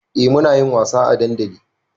Eh munayin wasa a dandali